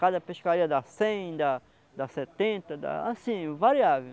Cada pescaria dá cem, dá dá setenta, assim, variável.